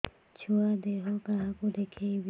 ଛୁଆ ଦେହ କାହାକୁ ଦେଖେଇବି